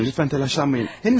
Xanım, lütfən təlaşlanmayın.